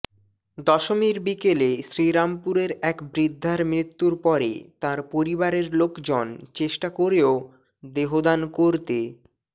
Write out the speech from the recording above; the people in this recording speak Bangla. দশমীর বিকেলে শ্রীরামপুরের এক বৃদ্ধার মৃত্যুর পরে তাঁর পরিবারের লোকজন চেষ্টা করেও দেহদান করতে